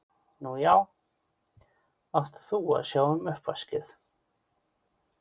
Nú já, átt þú að sjá um uppvaskið?